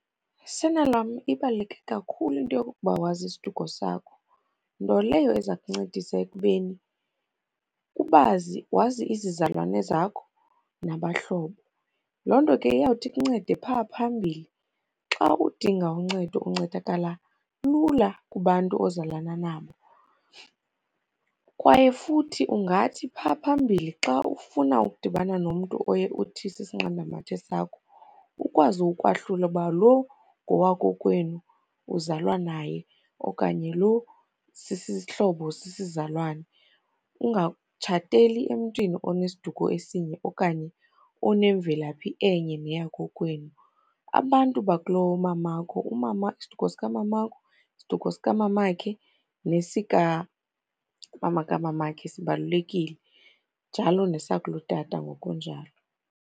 Sana lwam, ibaluleke kakhulu into yokokuba wazi isiduko sakho, nto leyo eza kuncedisa ekubeni ubazi, wazi izizalwane zakho nabahlobo. Loo nto ke iyawuthi ikuncede phaa phambili. Xa udinga uncedo uncedakala lula kubantu ozalana nabo kwaye futhi ungathi phaa phambili xa ufuna ukudibana nomntu oye uthi sisinqandamathe sakho, ukwazi ukwahlula ukuba lo ngowakokwenu uzalwa naye, okanye lo sisihlobo sisizalwane. Ungatshateli emntwini onesiduko esinye okanye unomvelaphi enye neyakokwenu. Abantu bakulomamakho, umama, isiduko sikamamakho, isiduko sikamamakhe nesikamama kamamakhe sibalulekile, njalo nesakulotata ngokunjalo.